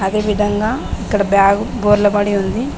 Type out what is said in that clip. ఈ విధంగా ఇక్కడ బ్యాగ్ బోర్ల బడి ఉంది.